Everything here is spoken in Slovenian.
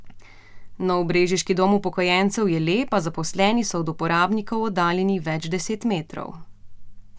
Nov brežiški dom upokojencev je lep, a zaposleni so od uporabnikov oddaljeni več deset metrov.